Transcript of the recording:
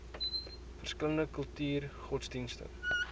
verskillende kulture godsdienste